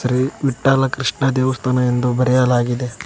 ಶ್ರೀ ವಿಠ್ಠಲ ಕೃಷ್ಣ ದೇವಸ್ಥಾನ ಎಂದು ಬರೆಯಲಾಗಿದೆ.